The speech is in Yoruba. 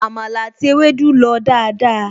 Àmàlà àti ewédú lọ dáadáa